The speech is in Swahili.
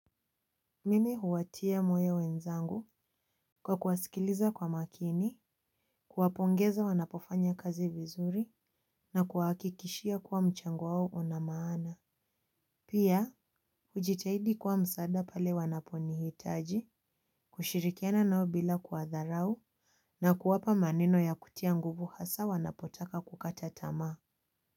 Mimi huwatia moyo wenzangu kwa kuwasikiliza kwa makini, kuwapongeza wanapofanya kazi vizuri na kuwahakikishia kuwa mchango wao una maana. Pia, hujitahidi kwa msaada pale wanaponihitaji, kushirikiana nao bila kuwadharau na kuwapa maneno ya kutia nguvu hasa wanapotaka kukata tamaa.